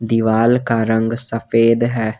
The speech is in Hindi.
दीवाल का रंग सफेद है।